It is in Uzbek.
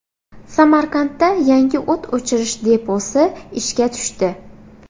Samarqandda yangi o‘t o‘chirish deposi ishga tushdi.